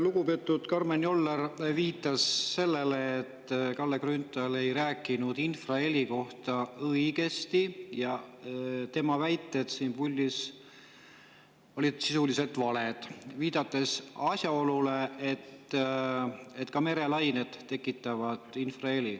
Lugupeetud Karmen Joller viitas sellele, et Kalle Grünthal ei rääkinud infraheli kohta õigust, et tema väited olid valed, viidates asjaolule, et ka merelained tekitavad infraheli.